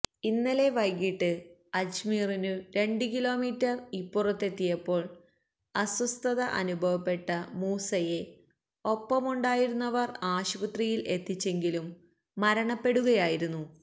ഇന്നലെ വൈകിട്ട് അജ്മീറിനു രണ്ടു കിലോമീറ്റര് ഇപ്പുറത്തെത്തിയപ്പോള് അസ്വസ്ഥത അനുഭവപ്പെട്ട മൂസയെ ഒപ്പമുണ്ടായിരുന്നവര് ആശുപത്രിയില് എത്തിച്ചെങ്കിലും മരണപ്പെടുകയായിരുന്നു